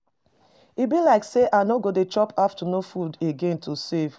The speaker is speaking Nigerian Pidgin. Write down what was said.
E be like say I no go dey chop afternoon food again to save.